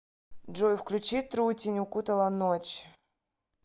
джой включи трутень укутала ночь